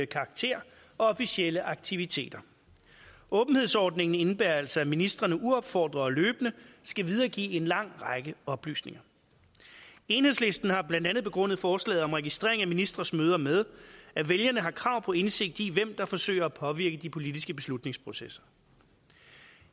karakter og officielle aktiviteter åbenhedsordningen indebærer altså at ministrene uopfordret og løbende skal videregive en lang række oplysninger enhedslisten har blandt andet begrundet forslaget om registrering af ministres møder med at vælgerne har krav på indsigt i hvem der forsøger at påvirke de politiske beslutningsprocesser